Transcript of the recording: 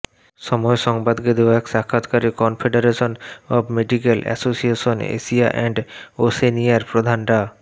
সময় সংবাদকে দেয়া এক সাক্ষাৎকারে confederation of medical association Asia and ওশেনিয়ার প্রধান ডা